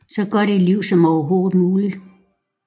Så godt et liv som overhovedet muligt